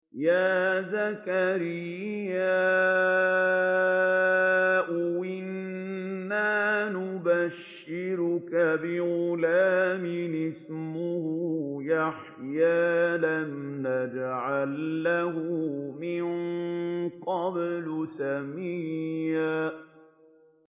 يَا زَكَرِيَّا إِنَّا نُبَشِّرُكَ بِغُلَامٍ اسْمُهُ يَحْيَىٰ لَمْ نَجْعَل لَّهُ مِن قَبْلُ سَمِيًّا